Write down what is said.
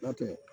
N'a tɛ